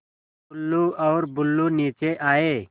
टुल्लु और बुल्लु नीचे आए